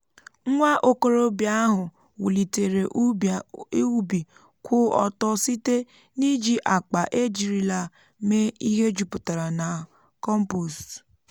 nwa okorobịa ahụ wulitere ubi kwụ ọtọ site um n'iji akpa e jirila mee ihe juputara na kọmpost.